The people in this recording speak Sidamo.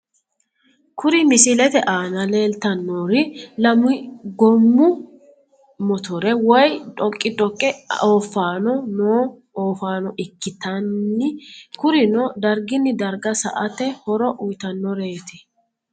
Kuri misilete aana leeltannori lamu goommo mitore woy dhoqqi dhoqqe ooffanni noo oofaano ikkitanni kurino darginni darga sa"ate horo uyitannoreeti